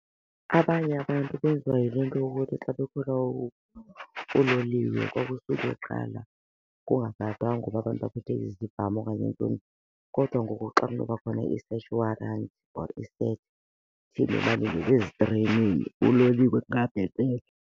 Abanye abantu benziwa yile nto yokuthi xa bekhwela uloliwe kwakusuke kuqala kungagadwanga uba abantu baphethe izibhamu okanye iintoni. Kodwa ngoku xa kunoba khona i-search warrant for ezitreyinini, uloliwe angabhetele.